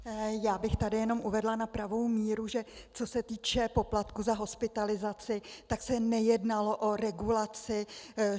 Já bych tady jenom uvedla na pravou míru, že co se týče poplatku za hospitalizaci, tak se nejednalo o regulaci.